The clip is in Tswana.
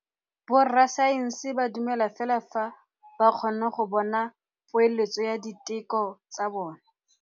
Borra saense ba dumela fela fa ba kgonne go bona poeletsô ya diteko tsa bone.